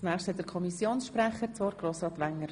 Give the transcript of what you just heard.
Das Wort hat der Kommissionssprecher Grossrat Wenger.